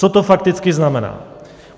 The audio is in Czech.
Co to fakticky znamená?